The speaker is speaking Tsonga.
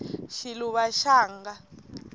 xiluva xanga